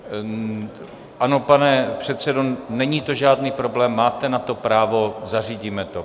Ano, pane předsedo, není to žádný problém, máte na to právo, zařídíme to.